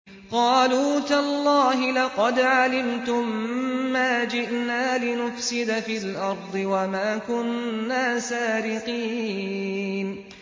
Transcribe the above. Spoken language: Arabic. قَالُوا تَاللَّهِ لَقَدْ عَلِمْتُم مَّا جِئْنَا لِنُفْسِدَ فِي الْأَرْضِ وَمَا كُنَّا سَارِقِينَ